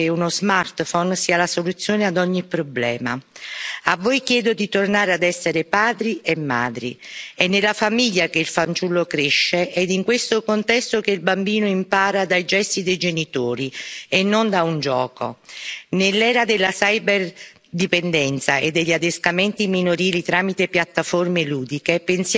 sia la soluzione ad ogni problema. A voi chiedo di tornare a essere padri e madri è nella famiglia che il fanciullo cresce ed è in questo contesto che il bambino impara dai gesti dei genitori e non da un gioco. Nell'era della cyberdipendenza e degli adescamenti minorili tramite piattaforme ludiche, pensiamo anche